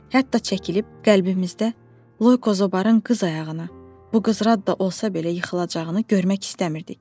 Hətta çəkilib qəlbimizdə Loyko zobarın qız ayağına, bu qız Radde da olsa belə yıxılacağını görmək istəmirdik.